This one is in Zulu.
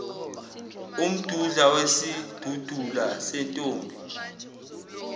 umdudla wesidudula sentombi